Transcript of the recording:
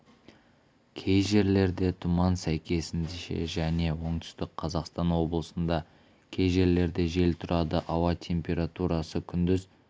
кей жерлерде тұман сәйкесінше және оңтүстік қазақстан облысында кей жерлерде жел тұрады ауа температурасы күндіз